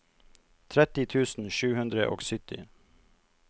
tretti tusen sju hundre og sytti